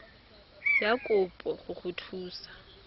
ya kopo go go thusa